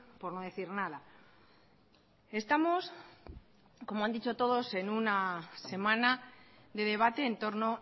por no decir nada estamos como han dicho todos en una semana de debate entorno